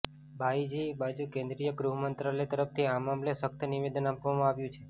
બાઇજી બાજુ કેન્દ્રીય ગૃહ મંત્રાલય તરફથી આ મામલે સખ્ત નિવેદન આપવામાં આવ્યું છે